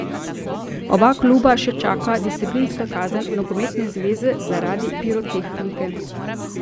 Oba kluba še čaka disciplinska kazen nogometne zveze zaradi pirotehnike.